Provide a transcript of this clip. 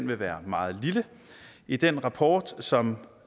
vil være meget lille i den rapport som